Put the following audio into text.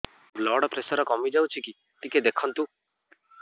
blood pressure କମି ଯାଉଛି କି ଟିକେ ଦେଖନ୍ତୁ